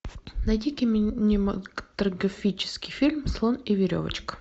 найди кинематографический фильм слон и веревочка